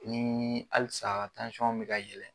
Ni halisa bɛ ka yɛlɛ.